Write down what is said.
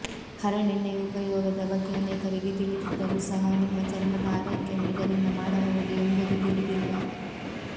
ಹರಳೆಣ್ಣೆಯ ಉಪಯೋಗದ ಬಗ್ಗೆ ಅನೇಕರಿಗೆ ತಿಳಿದಿದ್ದರೂ ಸಹ ನಿಮ್ಮ ಚರ್ಮದ ಆರೈಕೆಯನ್ನು ಇದರಿಂದ ಮಾಡಬಹುದು ಎಂಬುದು ತಿಳಿದಿಲ್ಲ